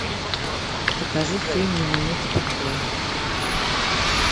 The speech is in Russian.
покажи фильм ни минуты покоя